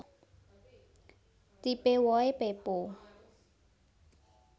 Tipe wohé pepo